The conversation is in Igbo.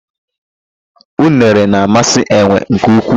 Unere na-amasị enwe nke ukwuu.